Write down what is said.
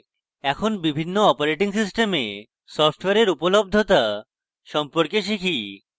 এখন বিভিন্ন operating systems সফটওয়্যারের উপলব্ধতা সম্পর্কে শিখি